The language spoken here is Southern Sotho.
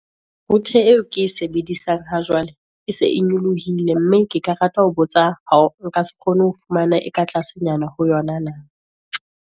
Router eo ke e sebedisang ha jwale, e se e nyolohile mme ke ka rata ho botsa, nka se kgone ho fumana e ka tlasenyana ho yona na.